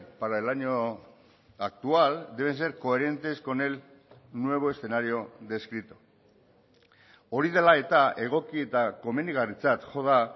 para el año actual deben ser coherentes con el nuevo escenario descrito hori dela eta egoki eta komenigarritzat jo da